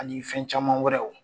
Ani fɛn caman wɛrɛw.